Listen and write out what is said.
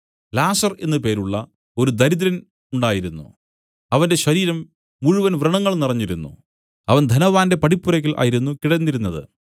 ലാസർ എന്നു പേരുള്ള ഒരു ദരിദ്രൻ ഉണ്ടായിരുന്നു അവന്റെ ശരീരം മുഴുവൻ വ്രണങ്ങൾ നിറഞ്ഞിരുന്നു അവൻ ധനവാന്റെ പടിപ്പുരയ്ക്കൽ ആയിരുന്നു കിടന്നിരുന്നത്